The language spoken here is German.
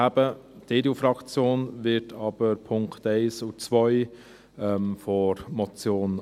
Die EDU-Fraktion wird aber die Punkte 1 und 2 der Motion annehmen.